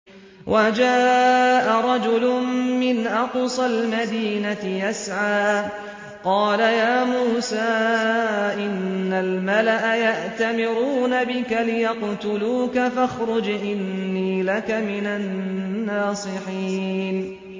وَجَاءَ رَجُلٌ مِّنْ أَقْصَى الْمَدِينَةِ يَسْعَىٰ قَالَ يَا مُوسَىٰ إِنَّ الْمَلَأَ يَأْتَمِرُونَ بِكَ لِيَقْتُلُوكَ فَاخْرُجْ إِنِّي لَكَ مِنَ النَّاصِحِينَ